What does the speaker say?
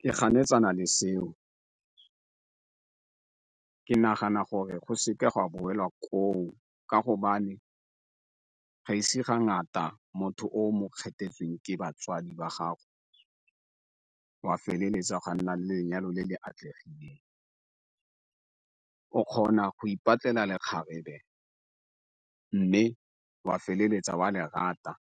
Ke ganetsana le seo, ke nagana gore go se ke gwa boelwa koo ka go ga e se ga ngata motho o mo kgethetseweng ke batswadi ba gago o a feleletsa o na le lenyalo le le atlegileng. O kgona go ipatlela le kgarebe mme o a feleletsa o a lerata,